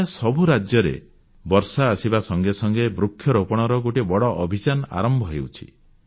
ପ୍ରାୟ ସବୁ ରାଜ୍ୟରେ ବର୍ଷା ଆସିବା ସଙ୍ଗେ ସଙ୍ଗେ ବୃକ୍ଷରୋପଣର ଗୋଟିଏ ବଡ଼ ଅଭିଯାନ ଆରମ୍ଭ ହେଉଛି